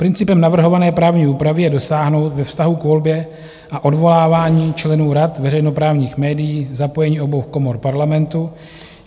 Principem navrhované právní úpravy je dosáhnout ve vztahu k volbě a odvolávání členů rad veřejnoprávních médií zapojení obou komor Parlamentu.